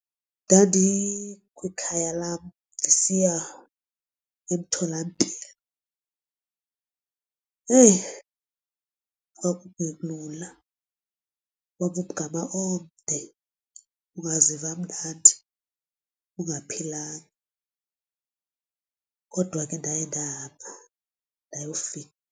Ndandi kwikhaya lam ndisiya emtholampilo, eyi kwakungelula kwakumgama omde ungaziva kamnandi ungaphilanga kodwa ke ndaye ndahamba ndayofika.